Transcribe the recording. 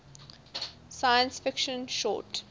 science fiction short